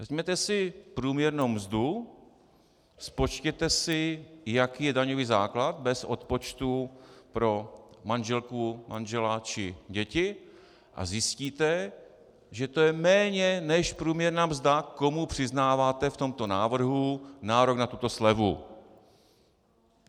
Vezměte si průměrnou mzdu, spočtěte si, jaký je daňový základ bez odpočtu pro manželku, manžela či děti, a zjistíte, že to je méně než průměrná mzda, komu přiznáváte v tomto návrhu nárok na tuto slevu.